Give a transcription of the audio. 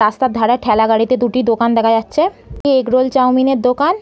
রাস্তার ধারে ঠ্যালা গাড়িতে দুটি দোকান দেখা যাচ্ছে। ই এগরোল চাওমিন এর দোকান।